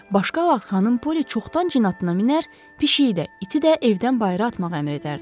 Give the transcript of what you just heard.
Başqa vaxt xanım Polli çoxdan cin atına minər, pişiyi də, iti də evdən bayıra atmağı əmr edərdi.